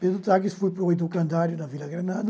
Pedro Taques foi para o Itucandário, na Vila Granada,